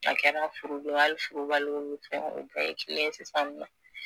A kɛra furulen hali furubaliw bi fɛn, u bɛ ye kelen ye sisan nɔ